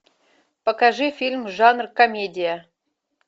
покажи фильм жанр комедия